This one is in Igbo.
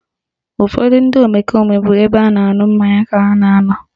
Ụfọdụ ndị omekome bụ n'ebe a na-aṅụ mmanya ka ha na anọ